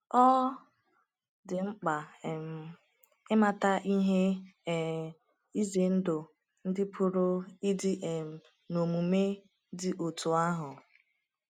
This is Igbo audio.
Ọ dị mkpa um ịmata ihe um ize ndụ ndị pụrụ ịdị um n’omume dị otú ahụ.